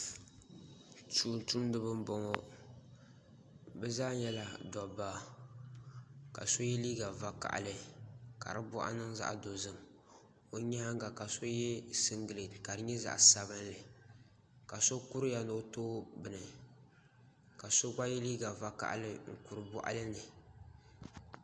Tumtumdiba n boŋo bi zaa nyɛla dabba ka so yɛ liiga vakaɣali ka di boɣu niŋ zaɣ dozim o nyaanga ka so yɛ singirɛti ka di nyɛ zaɣ sabinli ka so kuriya ni o tooi bini ka so yɛ liiga piɛlli n kuri boɣali ni